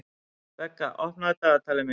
Begga, opnaðu dagatalið mitt.